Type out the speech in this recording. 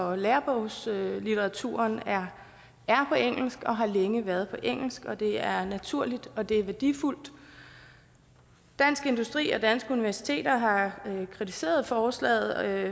og lærebogslitteraturen er på engelsk og har længe været på engelsk og det er naturligt og det er værdifuldt dansk industri og danske universiteter har kritiseret forslaget